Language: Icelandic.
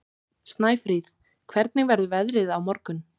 Snæfríð, hvernig verður veðrið á morgun?